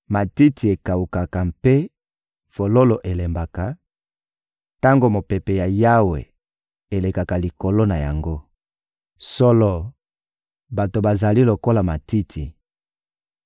Matiti ekawukaka mpe fololo elembaka, tango mopepe ya Yawe elekaka likolo na yango. Solo, bato bazali lokola matiti: